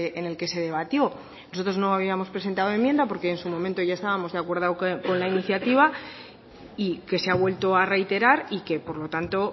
en el que se debatió nosotros no habíamos presentado enmienda porque en su momento ya estábamos de acuerdo con la iniciativa y que se ha vuelto a reiterar y que por lo tanto